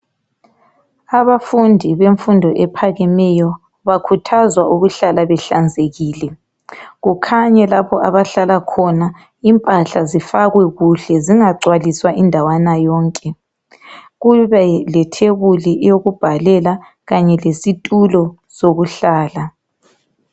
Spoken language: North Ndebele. Abafundi bemfundo ephakemeyo bakhuthazwa ukuhlala behlanzekile kukhanye lapho abahlala khona impahla zifakwe kuhle zingagcwaliswa indawana yonke . Kube lethebuli yokubhalela kanye lesitulo sokuhlala.